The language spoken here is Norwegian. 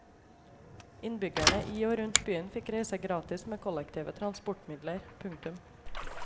Innbyggerne i og rundt byen fikk reise gratis med kollektive transportmidler. punktum